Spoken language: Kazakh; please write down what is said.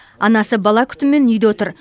анасы бала күтімімен үйде отыр